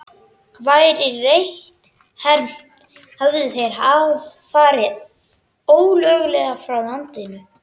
Væri rétt hermt, hefðu þeir farið ólöglega frá landinu.